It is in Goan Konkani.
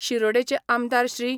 शिरोडेचे आमदार श्री.